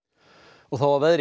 og þá að veðri